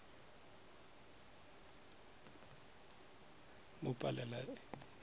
mo palela e be e